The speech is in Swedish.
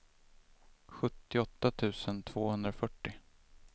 sjuttioåtta tusen tvåhundrafyrtio